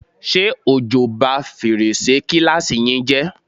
Ṣé òjò bá fèrèsé kíláàsì yín jẹ́?